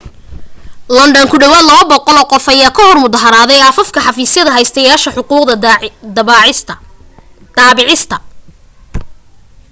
london ku dhawaad 200 qof ayaa ka hor mudaharaaday afaafka xafiisyada haystayaasha xuquuqda daabicista